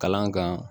Kalan kan